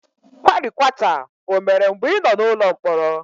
Kwarikwata o mere mgbe ị nọ n'ụlọ mkpọrọ?